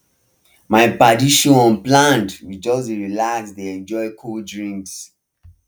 my padi show unplanned we just relax dey enjoy cold drinks